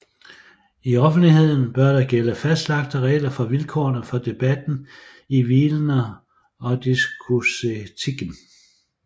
I offentligheden bør der gælde fastlagte regler for vilkårene for debatten hvilende på diskursetikken